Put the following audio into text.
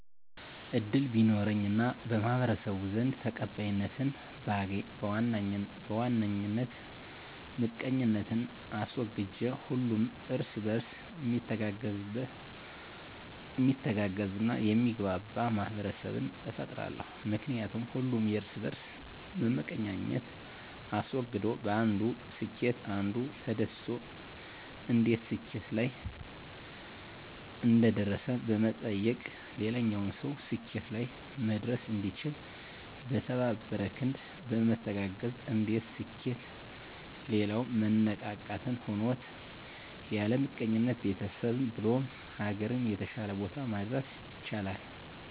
እድል ቢኖረኝ እና በማህበረሰቡ ዘንድ ተቀባይነትን ባገኝ በዋነኝ ምቀኝነትን አስወግጄ ሁሉም እርስ በእርስ ሚተጋገዝ እና የሚግባባ ማህበረሰብን እፈጥራለሁ። ምክንያቱም ሁሉም የእርስ በእርስ መመቀኛኘትን አስወግዶ በአንዱ ስኬት አንዱ ተደስቶ እንዴት ስኬት ላይ እንደደረሰ በመጠየቅ ሌላኛውም ሰው ስኬት ላይ መድረስ እንዲችል። በተባበረ ክንድ በመተጋገዝ የአንዱ ስኬት ሌላው መነቃቃትን ሆኖት ያለምቀኝነት ቤተሰብህ ብሎም ሀገርን የተሻለ ቦታ ማድረስ ይቻላል።